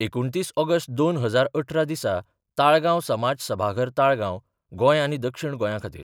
एकुणतीस ऑगस्ट दोन हजार अठरा दिसा ताळगांव समाज सभाघर ताळगांव, गोंय आनी दक्षिण गोंया खातीर.